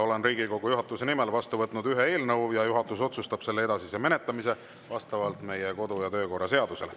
Olen Riigikogu juhatuse nimel vastu võtnud ühe eelnõu ja juhatus otsustab selle edasise menetlemise vastavalt meie kodu‑ ja töökorra seadusele.